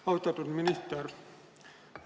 Austatud minister!